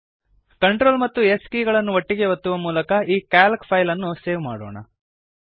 CTRL ಮತ್ತು S ಕೀಲಿಯನ್ನು ಒಟ್ಟಿಗೇ ಒತ್ತುವ ಮೂಲಕ ಈ ಕ್ಯಾಲ್ಕ್ ಫೈಲ್ ಅನ್ನು ಸೇವ್ ಮಾಡೋಣ